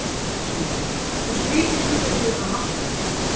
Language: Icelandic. Sindri: Hversu mikið þurftuð þið að afskrifa?